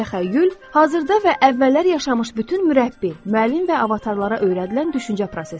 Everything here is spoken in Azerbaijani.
Təxəyyül hazırda və əvvəllər yaşamış bütün mürəbbi, müəllim və avatarlara öyrədilən düşüncə prosesidir.